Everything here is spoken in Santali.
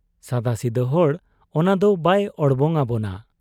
ᱥᱟᱫᱟᱥᱤᱫᱟᱹ ᱦᱚᱲ ᱚᱱᱟᱫᱚ ᱵᱟᱭ ᱚᱲᱵᱚᱝ ᱟᱵᱚᱱᱟ ᱾